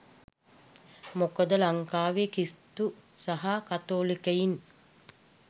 මොකද ලංකාවේ ක්‍රිස්තු සහ කතෝලිකයින්